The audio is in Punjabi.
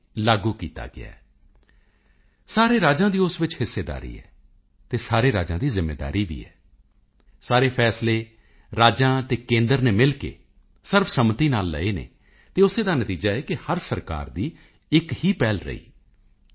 ਲਾਗੂ ਕੀਤਾ ਗਿਆ ਹੈ ਸਾਰੇ ਰਾਜਾਂ ਦੀ ਉਸ ਵਿੱਚ ਹਿੱਸੇਦਾਰੀ ਹੈ ਅਤੇ ਸਾਰੇ ਰਾਜਾਂ ਦੀ ਜ਼ਿੰਮੇਵਾਰੀ ਵੀ ਹੈ ਸਾਰੇ ਫੈਸਲੇ ਰਾਜਾਂ ਅਤੇ ਕੇਂਦਰ ਨੇ ਮਿਲ ਕੇ ਸਰਵਸੰਮਤੀ ਨਾਲ ਲਏ ਹਨ ਅਤੇ ਉਸੇ ਦਾ ਨਤੀਜਾ ਹੈ ਕਿ ਹਰ ਸਰਕਾਰ ਦੀ ਇੱਕ ਹੀ ਪਹਿਲ ਰਹੀ ਕਿ ਜੀ